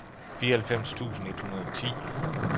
fireoghalvfems tusind et hundrede og ti